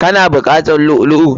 Ka na buƙatar lu'u lu'u?